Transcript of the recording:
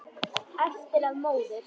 Eftir að móður